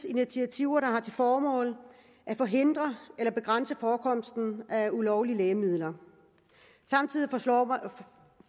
initiativer der har til formål at forhindre eller begrænse forekomsten af ulovlige lægemidler samtidig